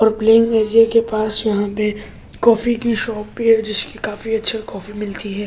और playing area के पास यहाँ पे कॉफी की शॉप भी है जिसकी काफी अच्छी कॉफी मिलती है ।